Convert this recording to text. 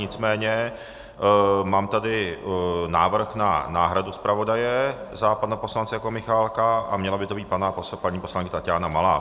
Nicméně mám tady návrh na náhradu zpravodaje za pana poslance Jakuba Michálka a měla by to být paní poslankyně Taťána Malá.